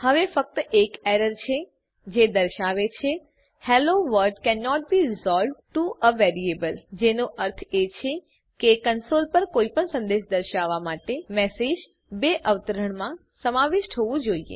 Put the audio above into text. હવે ફક્ત એક એરર છે જે દર્શાવે છે hello world cannot be resolved to a variable જેનો અર્થ એ છે કે કંસોલ પર કોઈપણ સંદેશ દર્શાવવાં માટે મેસેજ બે અવતરણમાં સમાવિષ્ટ હોવું જોઈએ